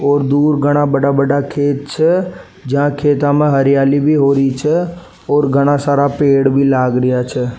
और दूर घणा बड़ा बड़ा खेत छे जहा खेता में हरियाली भी हो री छे और घणा सारा पेड़ भी लाग रिया छे।